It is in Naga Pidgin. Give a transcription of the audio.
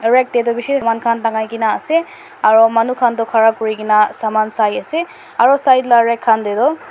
aru rack tae toh bishi saman khan tangai na ase aru manu khan toh khara kuri na saman sai ase aru side laga rack tae.